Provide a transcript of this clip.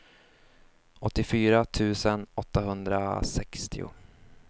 åttiofyra tusen åttahundrasextio